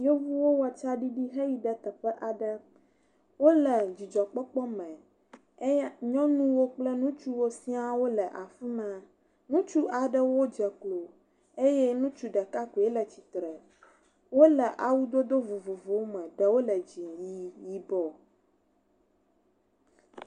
Amewo le hatsotso aɖe me eye wole exɔ aɖe ƒe ŋgɔ ye ame ɖewo bɔbɔ eye bubu aɖewo tsi atsitre ɖe woƒe megbe. Ame aɖewo ɖɔ gaŋkui eye ame aɖewo ɖɔ kuku ɖe ta. Ŋutsu aɖe de asi kotoku eye nyɔnu aɖe da asi ɖe nyɔvia ɖe ali dzi.